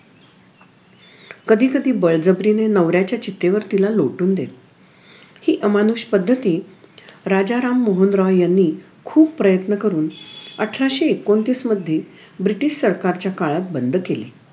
कधी कधी बळजबरीने नवऱ्याच्या चितेवर तिला लोटून देतात हि अमानुष पद्धती राजाराम मोहन रॉय यांनी खूप प्रयत्न करून अठराशे एकोणतीस मध्ये ब्रिटिश सरकारच्या काळात बंद केली